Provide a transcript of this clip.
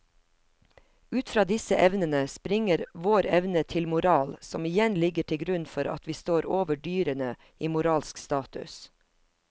Ut fra disse evnene springer vår evne til moral som igjen ligger til grunn for at vi står over dyrene i moralsk status.